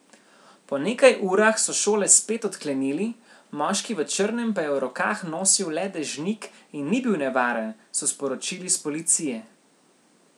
Po nekaj urah so šole spet odklenili, moški v črnem pa je v rokah nosil le dežnik in ni bil nevaren, so sporočili s policije.